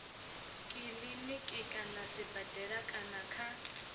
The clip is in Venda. kiliniki kana sibadela kana kha